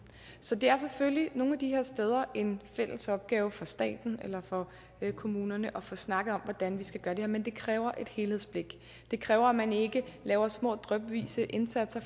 så det er selvfølgelig nogle af de her steder en fælles opgave for staten eller for kommunerne at få snakket om hvordan vi skal gøre det men det kræver et helhedsblik det kræver at man ikke laver små drypvise indsatser